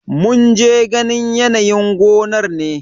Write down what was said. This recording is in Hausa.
Mun je ganin yanayin gonar ne.